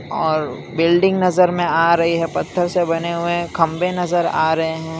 और बिल्डिंग नजर में आ रही है पत्थर से बने हुए खंबे नजर आ रहे हैं।